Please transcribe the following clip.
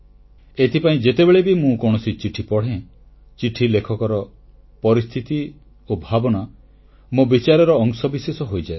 ଏଥିପାଇଁ ଯେତେବେଳେ ବି ମୁଁ କୌଣସି ଚିଠି ପଢ଼େ ଚିଠି ଲେଖକର ପରିସ୍ଥିତି ଓ ଭାବନା ମୋ ବିଚାରର ଅଂଶବିଶେଷ ହୋଇଯାଏ